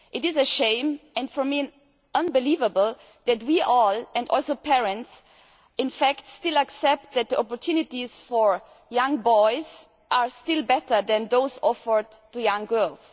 It is a shame and for me unbelievable that we all, including parents, still accept that the opportunities for young boys are still better than those offered to young girls.